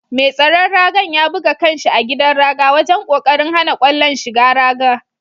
Mai tsaron raga'n ya buga kan' shi a gidan raga wajen kokarin hana kwallon shigan raga.